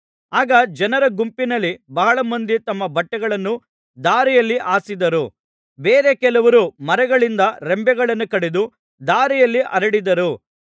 ಆಗ ಜನರ ಗುಂಪಿನಲ್ಲಿ ಬಹಳ ಮಂದಿ ತಮ್ಮ ಬಟ್ಟೆಗಳನ್ನು ದಾರಿಯಲ್ಲಿ ಹಾಸಿದರು ಬೇರೆ ಕೆಲವರು ಮರಗಳಿಂದ ರೆಂಬೆಗಳನ್ನು ಕಡಿದು ದಾರಿಯಲ್ಲಿ ಹರಡಿದರು